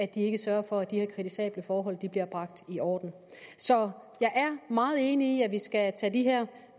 de ikke sørger for at de her kritisable forhold bliver bragt i orden så jeg er meget enig i at vi skal tage de her